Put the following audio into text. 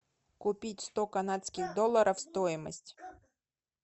купить сто канадских долларов стоимость